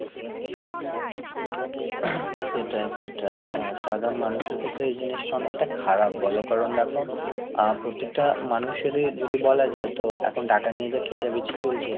সেটাই সেটাই, আহ সাধারণ মানুষের ক্ষেত্রে এই জিনিসটা অনেকটা খারাপ বলো কারণ দেখো, আহ প্রত্যেকটা মানুষেরই যদি বলা যায় তো এখন টাকা নিয়ে যে খেচা বেচি চলছে,